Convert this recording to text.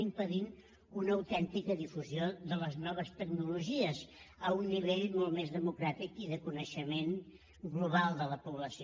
impedeixen una autèntica difusió de les noves tecnologies a un nivell molt més democràtic i de coneixement global de la població